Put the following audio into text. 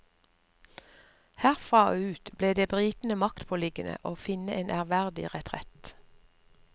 Herfra og ut ble det britene maktpåliggende å finne en ærverdig retrett.